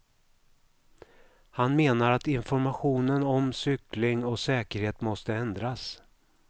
Han menar att informationen om cykling och säkerhet måste ändras.